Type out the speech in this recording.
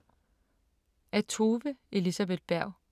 Af Tove Elisabeth Berg